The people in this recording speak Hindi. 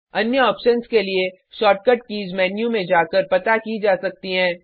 अन्य ऑप्शन्स के लिए शॉर्टकट कीज़ मेन्यू में जाकर पता की जा सकती हैं